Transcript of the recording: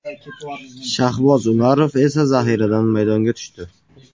Shahboz Umarov esa zaxiradan maydonga tushdi.